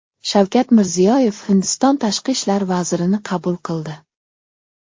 Shavkat Mirziyoyev Hindiston tashqi ishlar vazirini qabul qildi.